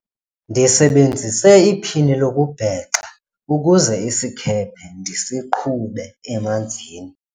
ndisebenzise iphini lokubhexa ukuze isikhephe ndisiqhube emanzini